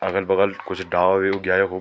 अगल बगल कुछ डाला भी उग्या यखुब।